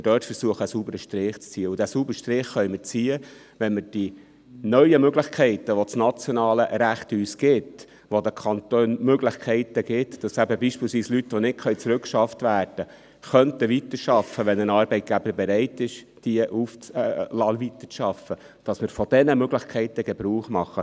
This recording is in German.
Diesen sauberen Strich können wir ziehen, wenn wir von den neuen Möglichkeiten, die uns das nationale Recht gibt – das den Kantonen die Möglichkeiten gibt, dass beispielsweise Leute, die nicht zurückgeschafft werden können, weiterarbeiten könnten, sofern ein Arbeitgeber bereit ist, sie weiterarbeiten zu lassen –, Gebrauch machen.